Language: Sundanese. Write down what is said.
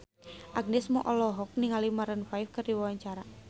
Agnes Mo olohok ningali Maroon 5 keur diwawancara